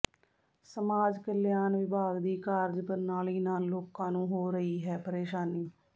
ਸਮਾਜ ਕਲਿਆਣ ਵਿਭਾਗ ਦੀ ਕਾਰਜ ਪ੍ਰਣਾਲੀ ਨਾਲ ਲੋਕਾਂ ਨੂੰ ਹੋ ਰਹੀ ਹੈ ਪ੍ਰੇਸ਼ਾਨੀ